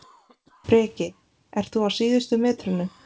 Breki: Ert þú á síðustu metrunum?